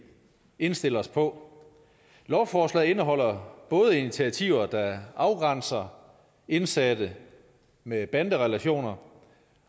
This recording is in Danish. indstille os på lovforslaget indeholder både initiativer der afgrænser indsatte med banderelationer